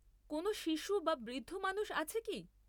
কোনও শিশু বা বৃদ্ধ মানুষ আছে কি?